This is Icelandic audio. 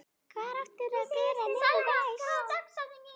Hvar átti hann að bera niður næst?